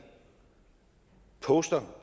poster